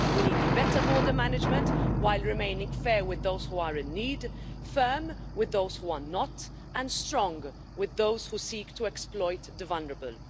We need better border management while remaining fair with those who are in need, firm with those who are not and strong with those who seek to exploit the vulnerable.